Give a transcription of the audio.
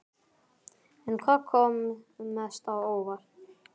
En hvað kom mest á óvart?